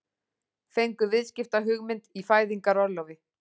Fengu viðskiptahugmynd í fæðingarorlofi